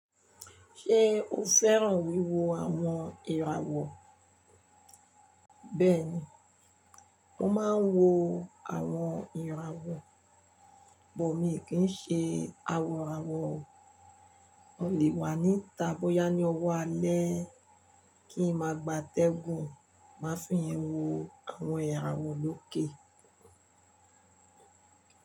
Ṣé o fẹ́ràn wíwo àwọn ìràwọ̀? Bẹ́ẹ̀ni, mo máa ń wo àwọn ìràwọ̀, bọ̀ mí kì í ṣe awọ̀rawọ̀ o. O lè wà níta bóyá ní ọwọ́ alẹ́ kí n máa gba tẹ̀gùn, máa fi yẹn wo àwọn ìràwọ̀ lókè.